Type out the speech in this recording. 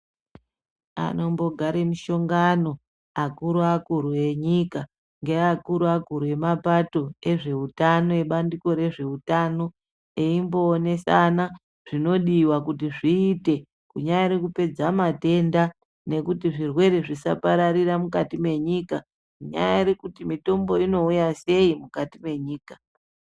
Anombogare mishongano akuru akuru enyika ngeakuru akuru emapato ezveutano nebandiko rezveutano eimboonesana zvinodiwa kuti zviite kunyari kepedza matenda ngekuti zvirwere zvisapararira mukati menyika, kunyari kuti mutombo inouya sei mukati menyika.